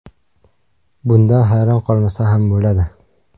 Bundan hayron qolmasa ham bo‘ladi.